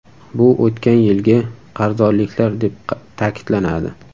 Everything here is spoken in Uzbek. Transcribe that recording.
Bu o‘tgan yilgi qarzdorliklar deb ta’kidlanadi.